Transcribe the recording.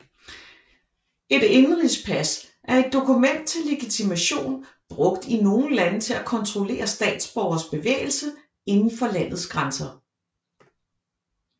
Et indenrigspas er et dokument til legitimation brugt i nogle lande til at kontrollere statsborgeres bevægelse inden for landets grænser